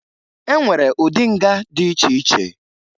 E nwere ụdị nga dị iche iche